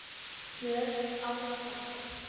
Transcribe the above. Björn Árdal.